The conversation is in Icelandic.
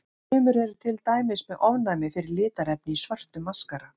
Sumir eru til dæmis með ofnæmi fyrir litarefni í svörtum maskara.